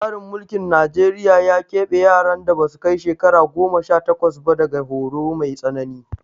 Tsarin mulkin Najeriya ya ƙeɓe yaran da ba su kai shekara goma sha takwas ba daga horo mai tsanani